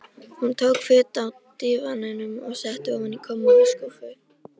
Hún tók föt af dívaninum og setti ofan í kommóðuskúffu.